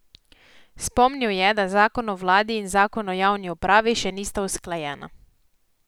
Spomnil je, da zakon o vladi in zakon o javni upravi še nista usklajena.